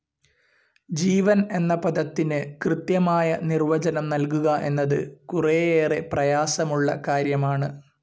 ജീവൻ എന്ന പദത്തിന് കൃത്യമായ നിർവചനം നൽകുക എന്നത് കുറേയേറെ പ്രയാസമുള്ള കാര്യമാണ്.